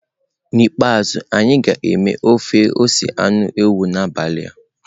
N'ikpeazụ, anyị ga-eme ofe ose anụ ewu n'abalị a.